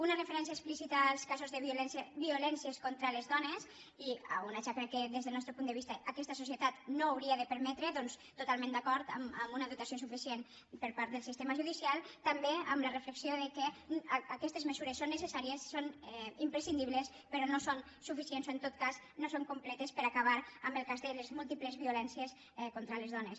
una referència explícita als casos de violències contra les dones una xacra que des del nostre punt de vista aquesta societat no hauria de permetre doncs totalment d’acord amb una dotació suficient per part del sistema judicial també amb la reflexió que aquestes mesures són necessàries són imprescindibles però no són suficients o en tot cas no són completes per a acabar amb el cas de les múltiples violències contra les dones